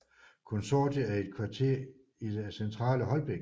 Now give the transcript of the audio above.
Konsortiet er et kvarter i det centrale Holbæk